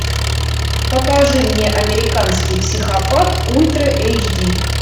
покажи мне американский психопат ультра эйч ди